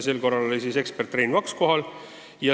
Sel korral osales ekspert Rein Vaks.